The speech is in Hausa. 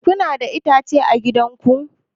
Kuna da itace a gidan ku?